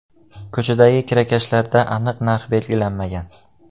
Ko‘chadagi kirakashlarda aniq narx belgilanmagan.